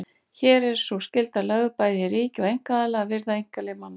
Hér er sú skylda lögð bæði á ríki og einkaaðila að virða einkalíf manna.